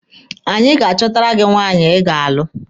Anyị ga-achọtara gị nwaanyị Ị ga-alụ.